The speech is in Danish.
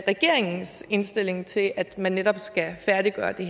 regeringens indstilling til at man netop skal færdiggøre det